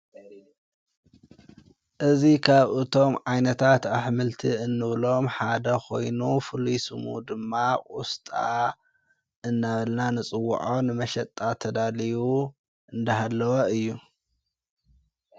እዙ ኻብ እቶም ዓይነታት ኣኅምልቲ እንብሎም ሓደ ኾይኑ ፍልስሙ ድማ ቊስጣ እናበልና ንጽዉዖን መሸጣ ተዳልዩ እንዳሃለዋ እዩ።